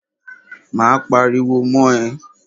Máa pariwo mọ́ ẹ.